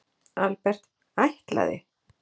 Albert: Ætlaði?